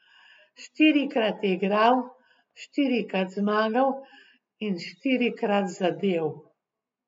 Štirikrat je igral, štirikrat zmagal in štirikrat zadel.